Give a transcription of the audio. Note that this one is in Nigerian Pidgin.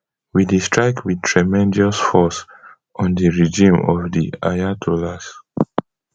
we dey strike wit tremendous force on di regime of di ayatollahs